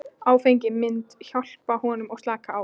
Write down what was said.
Áfengið myndi hjálpa honum að slaka á.